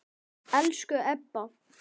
Elsku Ebba.